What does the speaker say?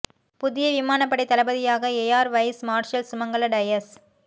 புதிய விமானப் படைத் தளபதியாக air vice marshal Sumangala Dias